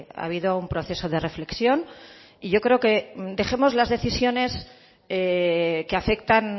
ha habido un proceso de reflexión y yo creo que dejemos las decisiones que afectan